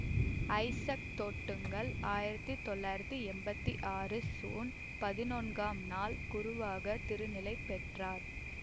Isaac Thottunkal ஆயிரத்தி தொள்ளாயிரத்தி எம்பத்தி ஆறு சூன் பதினொன்காம் நாள் குருவாகத் திருநிலை பெற்றார்